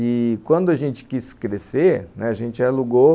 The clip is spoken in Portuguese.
E quando a gente quis crescer, né, a gente alugou